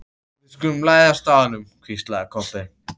Við skulum læðast að honum, hvíslaði Kobbi.